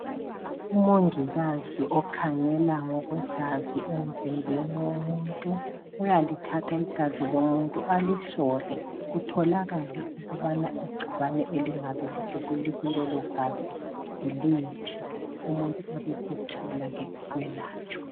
UMongikazi okhangela ngokwegazi emzimbeni womuntu uyalithatha igazi lomuntu alihlole kutholakale ukubana igcikwane elingabe likulelogazi yiliphi. Umuntu abesetholake ukwelatshwa